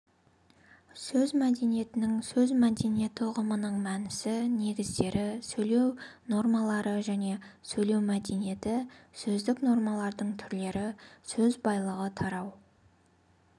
сөз мәдениетінің сөз мәдениеті ұғымының мәнісі негіздері сөйлеу нормалары және сөйлеу мәдениеті сөздік нормалардың түрлері сөз байлығы тарау